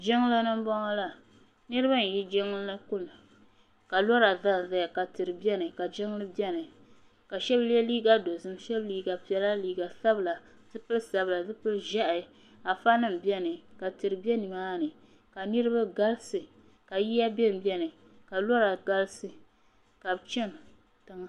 Jiŋlini m boŋɔ la niriba n yi jiŋlini n kuna ka lora zanzaya tihi biɛni ka jiŋli biɛni ka shɛba ye liiga dozim shɛba mi liiga piɛla liiga sabla zipili sabla zipili ʒehi afa nima biɛni ka tihi be nimani ka niriba galisi ka bɛ yiya bembe ni ka lora galisi ka bɛ chani tiŋa.